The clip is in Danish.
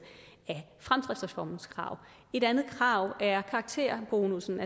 af fremdriftsreformens krav et andet krav er karakterbonussen